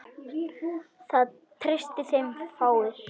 Það treysta þeim fáir.